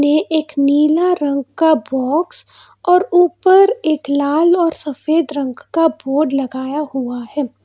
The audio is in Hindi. ये एक नीला रंग का बोक्स और ऊपर एक लाल और सफेद रंग का बोर्ड लगाया हुआ है।